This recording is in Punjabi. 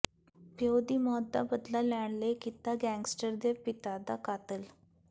ਪਿਉ ਦੀ ਮੌਤ ਦਾ ਬਦਲਾ ਲੈਣ ਲਈ ਕੀਤਾ ਗੈਂਗਸਟਰ ਦੇ ਪਿਤਾ ਦਾ ਕਤਲ